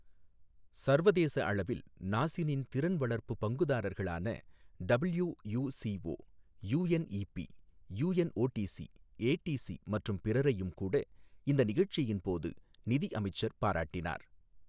சர்வதேச அளவில் நாசினின் திறன் வளர்ப்புப் பங்குதாரர்களான டபிள்யுசிஓ, யுஎன்இபி, யுஎன்ஓடிசி, ஏடிசி மற்றும் பிறரையும் கூட இந்த நிகழ்ச்சியின் போது நிதி அமைச்சர் பாராட்டினார்.